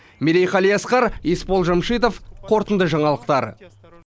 мерей қалиасқар есбол жәмшитов қорытынды жаңалықтар